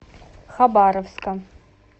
хабаровска